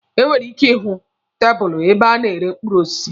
E nwere ike ihụ tabụlụ ebe a na-ere mkpụrụ osisi.